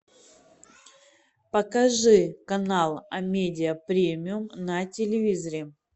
покажи канал амедиа премиум на телевизоре